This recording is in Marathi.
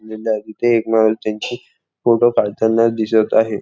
निंदाय तिथे एक माणूस त्यांचे फोटो काढताना दिसत आहे.